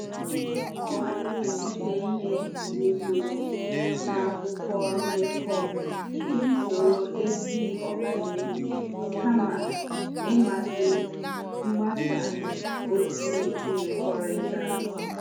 Ọ malitere ide ihe rụzuru n'akwụkwọ ndekọ iji soro ezi ọganihu kama ịmasị mgbasa ozi mmekọrịta.